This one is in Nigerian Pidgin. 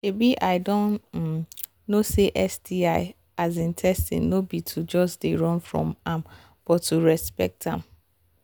um i don um know say sti um testing no be to just they run from am but to respect am